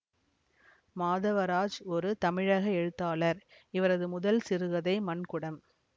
மாதவராஜ் ஒரு தமிழக எழுத்தாளர் இவரது முதல் சிறுகதை மண்குடம்